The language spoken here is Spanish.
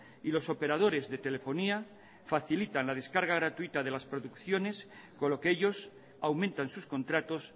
y los operadores de telefonía facilitan la descarga gratuita de las producciones con lo que ellos aumentan sus contratos